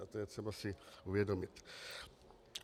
A to je třeba si uvědomit.